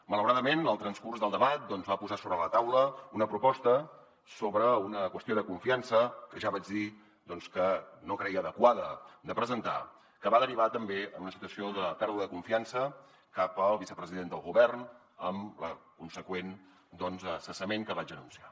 malauradament el transcurs del debat va posar sobre la taula una proposta sobre una qüestió de confiança que ja vaig dir que no creia adequada de presentar que va derivar també en una situació de pèrdua de confiança cap al vicepresident del govern amb el consegüent cessament que vaig anunciar